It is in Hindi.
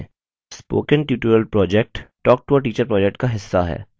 spoken tutorial project talktoateacher project का हिस्सा है